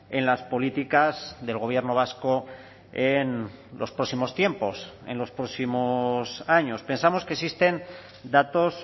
en las políticas del gobierno vasco en los próximos tiempos en los próximos años pensamos que existen datos